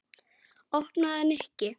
Opnaðu, Nikki.